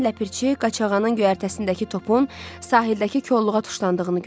Birdən Ləpirçi qaçağanın göyərtəsindəki topun sahildəki kolluğa tuşlandığını gördü.